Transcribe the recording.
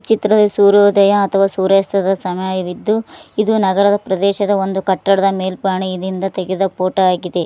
ಚಿತ್ರದ ಸೂರ್ಯೋದಯ ಅಥವಾ ಸೂರ್ಯಾಸ್ತದ ಸಮಯವಿದ್ದು ಇದು ನಗರದ ಪ್ರದೇಶದ ಒಂದು ಕಟ್ಟಡದ ಮೇಲ್ಪಾನಿದಿಂದ ತೆಗೆದ ಫೋಟೋ ಆಗಿದೆ.